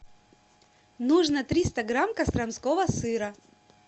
нужно триста грамм костромского сыра